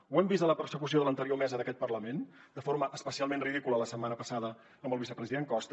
ho hem vist a la persecució de l’anterior mesa d’aquest parlament de forma especialment ridícula la setmana passada amb el vicepresident costa